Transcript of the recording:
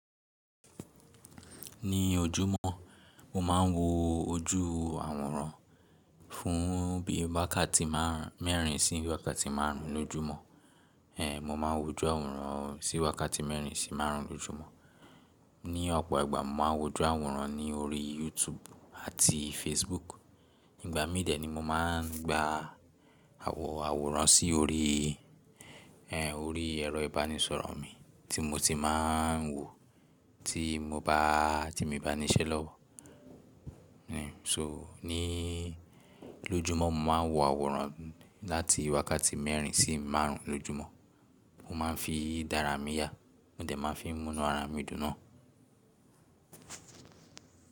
Ní ojúmọ́ mo máa ń wo ojú àwòrán fún bí i wákàtí márùn ún mẹ́rin sí wákàtí márùn ún lójúmọ́. Èhè mo máa ń wo ojú àwòrán sí wákàtí mẹ́rin sí márùn ún lójúmọ́. Ní ọ̀pọ̀ ìgbà mo ma ń wo ojú àwòrán ní orí YouTube àti Facebook. Nígbà mídẹ̀ ni mo máa ń gba àwò àwòrán sí orí èhè orí ẹ̀rọ ìbánisọ̀rọ̀ mi tí mo ti máa ń wò tí mo bá ti mi n ba ní iṣẹ́ lọ́wọ́. So ní lójúmọ́ mo máa ń wo àwòrán láti wákàtí mẹ́rin sí márùn ún lójúmọ́. Mo máa ń fi dára mi yà, mo dẹ̀ máa ń fi munu ara mi dùn náà.